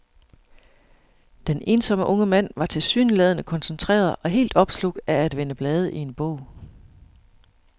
Den ensomme unge mand var tilsyneladende koncentreret og helt opslugt af at vende blade i en bog.